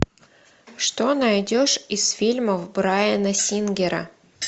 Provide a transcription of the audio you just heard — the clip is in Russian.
что найдешь из фильмов брайана сингера